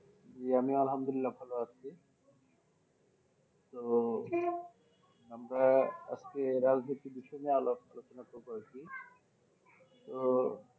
ইয়ে আমিও আল্লাহামদুল্লিলাহ ভালো আছি তো আমরা আজকে রাজনীতির বিষয় নিয়ে আলাপ আলোচনা শুরু করেছি তো,